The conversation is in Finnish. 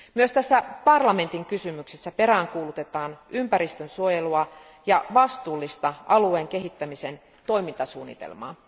Myös tässä parlamentin kysymyksessä peräänkuulutetaan ympäristönsuojelua ja vastuullista alueen kehittämisen toimintasuunnitelmaa.